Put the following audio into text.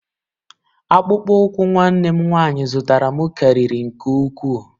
Akpụkpọ ụkwụ nwanne m nwanyị zụtara m karịrị nke ukwuu.